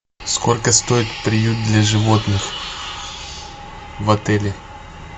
сколько стоит приют для животных в отеле